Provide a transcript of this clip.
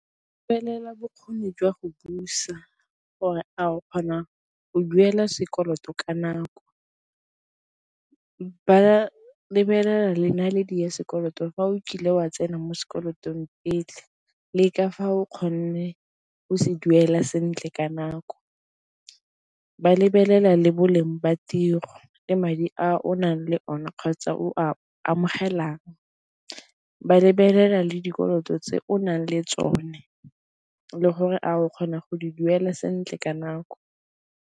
Felela bokgoni jwa go busa gore a o kgona go duela sekoloto ka nako, ba lebelela le naledi ya sekoloto fa o kile wa tsena mo sekolotong pele le ka fa o kgonne o se duela sentle ka nako, ba lebelela le bo leng ba tiro le madi a o nang le one kgotsa o a amogelang, ba lebelela le dikoloto tse o nang le tsone le gore a o kgona go di duela sentle ka nako.